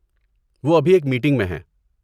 وہ ابھی ایک میٹنگ میں ہیں۔